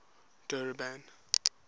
durban